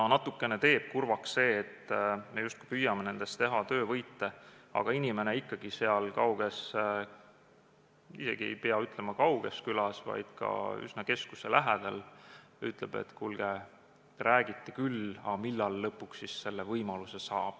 Natuke teeb kurvaks see, et me püüame nendest teha töövõite, aga inimene ikkagi – isegi ei pea ütlema, et kauges külas, vaid üsna keskuse lähedal – ütleb: "Kuulge, räägiti küll, aga millal siis lõpuks selle võimaluse saab?